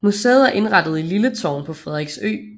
Museet er indrettet i Lille Tårn på Frederiksø